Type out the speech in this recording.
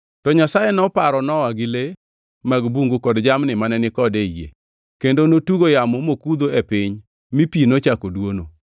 To Nyasaye noparo Nowa gi le mag bungu kod jamni mane ni kode ei yie, kendo notugo yamo mokudho e piny mi pi nochako dwono.